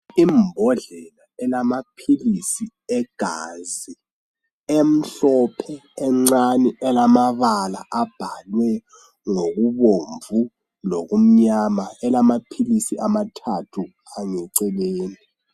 Imbodlela elamaphilisi egazi emhlophe encane elamabala abhalwe ngokubomvu lokumyama elamaphilisi amathathu eceleni.